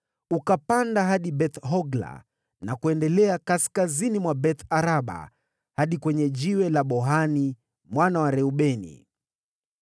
ukapanda hadi Beth-Hogla, na kuendelea kaskazini mwa Beth-Araba hadi kwenye Jiwe la Bohani mwana wa Reubeni.